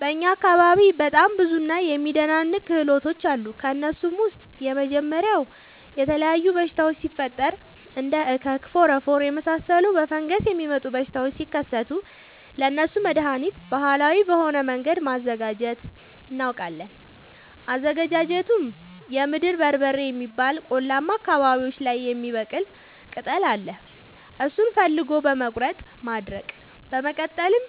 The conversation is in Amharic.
በእኛ አካባቢ በጣም ብዙ እና የሚደናንቅ ክህሎቶች አሉ። ከእነሱም ውስጥ የመጀመሪያው የተለያዩ በሽታወች ሲፈጠሪ እንደ እከክ ፎረፎር የመሳሰሉ በፈንገስ የሚመጡ በሽታዎች ሲከሰቱ ለእነሱ መደሀኒት ባህላዊ በሆነ መንገድ ማዘጋጀት እናውቃለን። አዘገጃጀቱመሸ የምድር በርበሬ የሚባል ቆላማ አካባቢዎች ላይ የሚበቅል ቅጠል አለ እሱን ፈልጎ በመቀለረጥ ማድረቅ በመቀጠልም